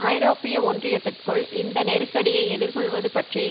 ஐரோப்பிய ஒன்றியத்திற்குள் இந்த நெருக்கடியை எதிர் கொள்ளுவது பற்றி